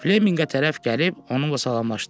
Fleminqə tərəf gəlib onunla salamlaşdı.